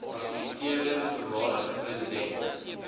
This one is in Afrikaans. fasiliteerder voormalige president